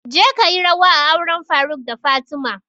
Je kayi rawa a auren faruk da fatima!